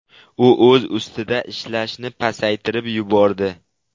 U o‘z ustida ishlashni pasaytirib yubordi.